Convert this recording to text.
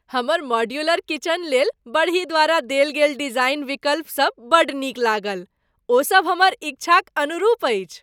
हमर मॉड्यूलर किचनलेल बड़ही द्वारा देल गेल डिजाइन विकल्पसभ बड्ड नीक लागल। ओ सभ हमर इच्छाक अनुरूप अछि!